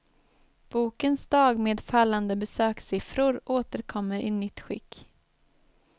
Bokens dag med fallande besökssiffror återkommer i nytt skick.